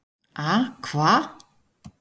A hva?